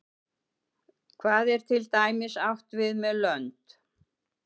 hvað er til dæmis átt við með lönd